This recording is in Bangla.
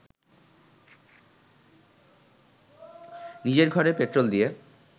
নিজের ঘরে পেট্রোল দিয়ে